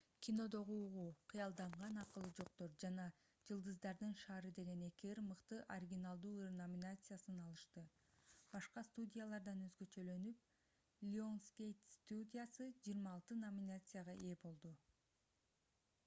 кинодогу угуу кыялданган акылы жоктор жана жылдыздардын шаары деген эки ыр мыкты оригиналдуу ыр номинациясын алышты. башка студиялардан өзгөчөлөнүп lionsgate студиясы 26 номинацияга ээ болду